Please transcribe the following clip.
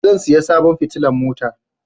Zan saya sabon fitilan mota